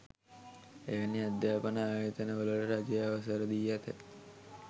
එවැනි අධ්‍යාපන ආයතන වලට රජය අවසර දී ඇත